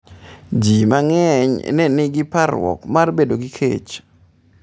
Ji mang’eny ne nigi parruok mar bedo gi kech.